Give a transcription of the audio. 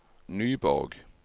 Nyborg